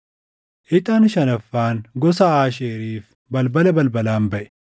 Ixaan shanaffaan gosa Aasheeriif balbala balbalaan baʼe.